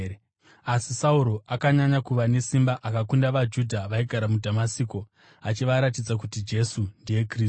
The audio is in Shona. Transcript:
Asi Sauro akanyanya kuva nesimba akakunda vaJudha vaigara muDhamasiko achivaratidza kuti Jesu ndiye Kristu.